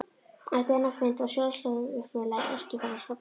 Eftir þennan fund var Sjálfstæðisfélag Eskifjarðar stofnað.